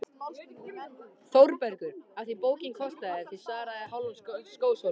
ÞÓRBERGUR: Af því bókin kostaði sem svaraði hálfum skósólum.